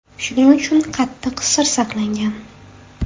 Shuning uchun qattiq sir saqlangan.